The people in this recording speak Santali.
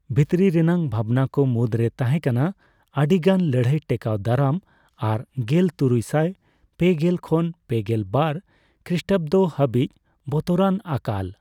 ᱵᱷᱤᱛᱨᱤ ᱨᱮᱱᱟᱜ ᱵᱷᱟᱵᱱᱟ ᱠᱚ ᱢᱩᱫᱽᱨᱮ ᱛᱟᱸᱦᱮ ᱠᱟᱱᱟ ᱟᱹᱰᱤ ᱜᱟᱱ ᱞᱟᱹᱲᱦᱟᱹᱭ ᱴᱮᱠᱟᱣ ᱫᱟᱨᱟᱢ ᱟᱨ ᱜᱮᱞ ᱛᱩᱨᱩᱭᱥᱟᱭ ᱯᱮᱜᱮᱞ ᱠᱷᱚᱱ ᱯᱮᱜᱮᱞ ᱵᱟᱨ ᱠᱷᱨᱤᱥᱴᱟᱵᱫᱚ ᱦᱟᱹᱵᱤᱡ ᱵᱚᱛᱚᱨᱟᱱ ᱟᱠᱟᱞ ᱾